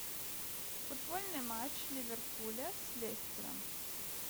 футбольный матч ливерпуля с лестером